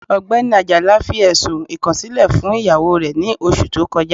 Ọgbẹni Ajala fi ẹ̀ṣùn ikọ̀silẹ̀ fún iyawó rẹ̀ ní ọṣù tó kọja.